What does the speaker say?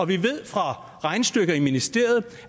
vi ved fra regnestykker i ministeriet